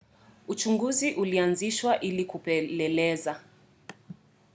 uchunguzi ulianzishwa ili kupeleleza